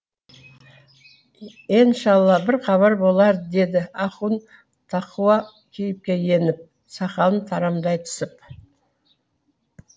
еншалла бір хабар болар деді ахун тақуа кейіпке еніп сақалын тарамдай түсіп